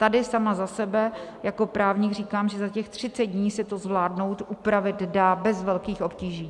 Tady sama za sebe jako právník říkám, že za těch 30 dní se to zvládnout, upravit dá bez velkých obtíží.